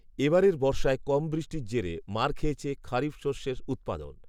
এবারের বর্ষায় কম বৃষ্টির জেরে মার খেয়েছে খরিফ শস্যের উৎপাদন